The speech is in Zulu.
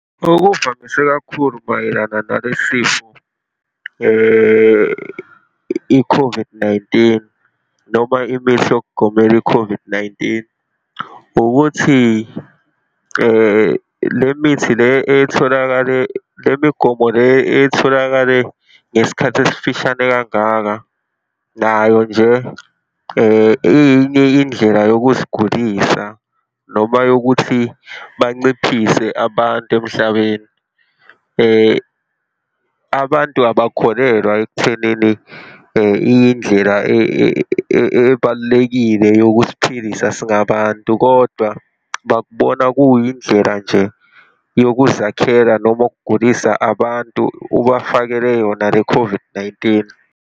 Okuvamise kakhulu mayelana nalesi sifo i-COVID-19 noma imithi yokugomela i-COVID-19, ukuthi le mithi le etholakale, le migomo le etholakale ngesikhathi esifishane kangaka, nayo nje iyinye indlela yokusigulisa noma yokuthi banciphise abantu emhlabeni. Abantu abakholelwa ekuthenini iyindlela ebalulekile yokusiphilisa singabantu, kodwa bakubona kuyindlela nje yokuzakhela noma ukugulisa abantu, ubafakele yona le-COVID-19.